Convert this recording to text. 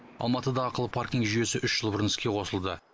алматыда ақылы паркинг жүйесі үш жыл бұрын іске қосылды